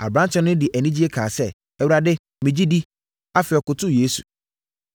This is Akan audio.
Aberanteɛ no de anigyeɛ kaa sɛ, “Awurade, megye medi.” Afei, ɔkotoo Yesu.